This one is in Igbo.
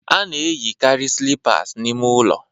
A na-eyikarị slippers n'ime ụlọ